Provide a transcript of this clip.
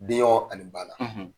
Denɲɔgɔn ani bana